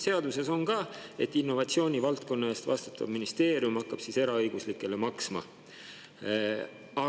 Seaduses on ka, et innovatsiooni valdkonna eest vastutav ministeerium hakkab seda eraõiguslikele maksma.